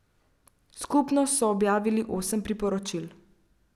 Skupno so objavili osem priporočil.